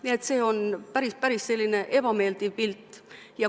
Nii et see on päris ebameeldiv pilt.